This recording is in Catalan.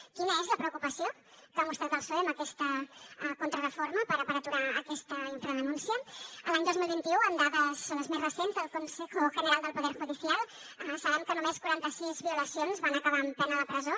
quina és la preocupació que ha mostrat el psoe amb aquesta contrareforma per aturar aquesta infradenúncia l’any dos mil vint u amb dades les més recents del consejo general del poder judicial sabem que només quaranta sis violacions van acabar amb pena de presó